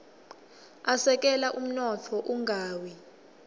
asekela umnotfo ungawi